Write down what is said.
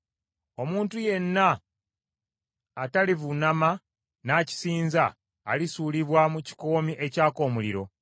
Omuntu yenna atalivuunama n’akisinza, alisuulibwa mu kikoomi ekyaka omuliro.”